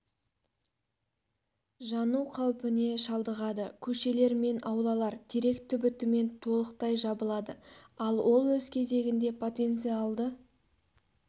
жану қауіпіне шалдығады көшелер мен аулалар терек түбітімен толықтай жабылады ал ол өз кезегінде потенциалды